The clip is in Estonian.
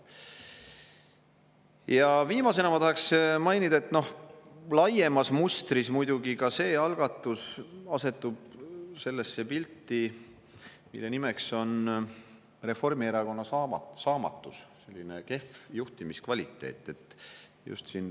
Ja viimasena ma tahaksin mainida, et noh, laiemas mustris muidugi ka see algatus asetub sellesse pilti, mille nimeks on Reformierakonna saamatus ja kehv juhtimiskvaliteet.